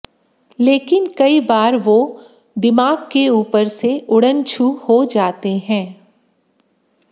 लेकिन कई बार वो दिमाग के ऊपर से उड़न छू हो जाते हैं